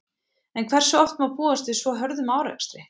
En hversu oft má búast við svo hörðum árekstri?